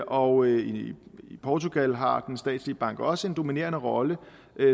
og i portugal har den statslige bank også en dominerende rolle